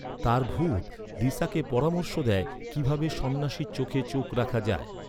তার ভূত, লিসাকে পরামর্শ দেয়, কিভাবে সন্ন্যাসীর চোখে চোখ রাখা যায়।